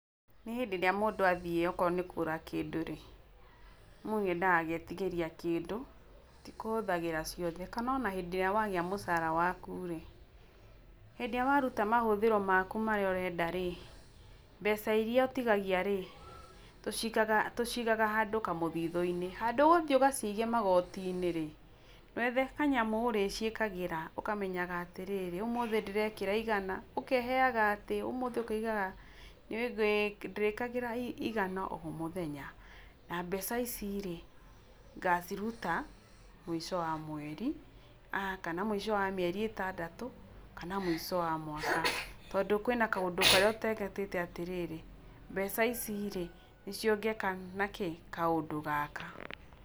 Nĩ hĩndĩ ĩrĩa mũndũ athiĩ o korwo nĩ kũgũra kĩndũ rĩ , mũndũ nĩ endaga agetigĩrĩa kĩndũ tĩ kũhũthagĩra ciothe, kana ona hĩndĩ ĩríĩ wagĩa mũcara waku rĩ hĩndĩ ĩrĩa waruta mahũthĩro maku marĩa ũrenda rĩ mbeca irĩa ũtigagĩa rĩ tũcigaga handũ kamũthithũ-inĩ, handũ ũthiĩ ũgacige magoti-inĩ rĩ ndwethe kanyamũ ũrĩciĩkagĩra ũkamenyaga atĩrĩrĩ ũmũthe ndĩrekĩra igana, ũkeheaga atĩ ũmũthe ũkaigaga, ndĩrĩkĩraga igana o mũthenya na mbeca ici rĩ ngaciruta mwico wa mweri kana mũico wa mĩeri ĩtandatũ kana mico wa mwaka tondũ kwĩna kaũndũ karĩa ũteretete atĩrĩrĩ mbeca ici rĩ nĩ cio ngeka nacio kaũndũ gaka.